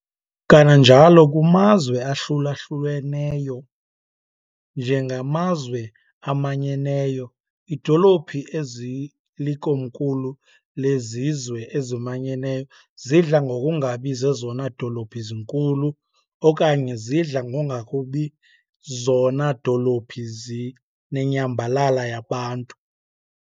Kananjalo, kumazwe ahlulaluhlweneyo njengamaZwe aManyeneyo, idolophi ezilikomkhulu lezizwe ezimanyeneyo zidla ngokungabi zezona dolophu zinkulu okanye zidla ngongakubi zona dolophi zinenyambalala yabantu.